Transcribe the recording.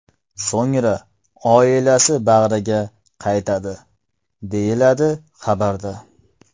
So‘ngra oilasi bag‘riga qaytadi”, deyiladi xabarda.